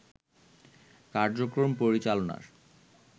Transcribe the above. কার্যক্রম পরিচালনার